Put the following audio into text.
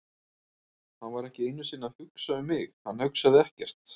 Hann var ekki einu sinni að hugsa um mig, hann hugsaði ekkert.